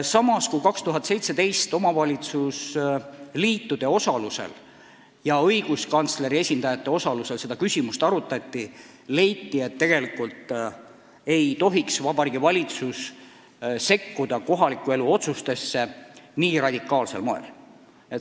Samas, kui 2017. aastal omavalitsuste liitude ja õiguskantsleri esindajate osalusel seda küsimust arutati, siis leiti, et tegelikult ei tohiks Vabariigi Valitsus kohaliku elu otsustesse nii radikaalsel moel sekkuda.